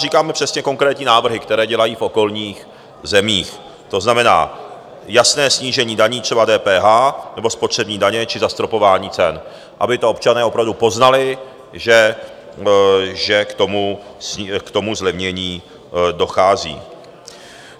Říkáme přesně konkrétní návrhy, které dělají v okolních zemích, to znamená jasné snížení daní, třeba DPH nebo spotřební daně, či zastropování cen, aby to občané opravdu poznali, že k tomu zlevnění dochází.